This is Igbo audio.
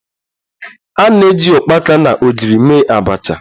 Anyị ji ukpaka na ogiri mee abacha